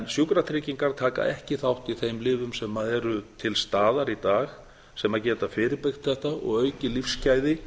sjúkratryggingar taka ekki þátt í þeim lyfjum sem eru til staðar í dag sem geta fyrirbyggt þetta og aukið lífsgæði